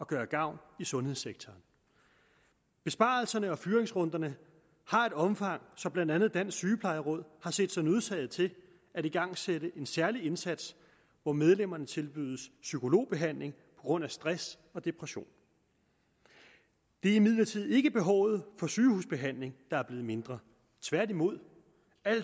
gøre gavn i sundhedssektoren besparelserne og fyringsrunderne har et omfang så blandt andet dansk sygeplejeråd har set sig nødsaget til at igangsætte en særlig indsats hvor medlemmerne tilbydes psykologbehandling på grund af stress og depression det er imidlertid ikke behovet for sygehusbehandling der er blevet mindre tværtimod